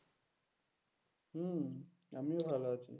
হম আমিও ভালো আছি।